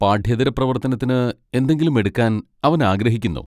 പാഠ്യേതര പ്രവർത്തനത്തിന് എന്തെങ്കിലും എടുക്കാൻ അവൻ ആഗ്രഹിക്കുന്നു.